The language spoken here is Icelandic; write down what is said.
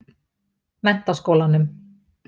Menntaskólanum